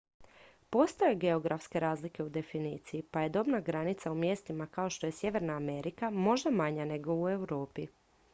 postoje geografske razlike u definiciji pa je dobna granica u mjestima kao što je sjeverna amerika možda manja nego u europi